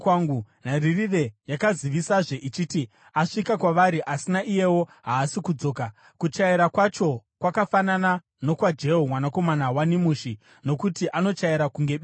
Nharirire yakazivisazve ichiti, “Asvika kwavari, asi naiyewo haasi kudzoka. Kuchaira kwacho kwakafanana nokwaJehu mwanakomana waNimishi, nokuti anochaira kunge benzi.”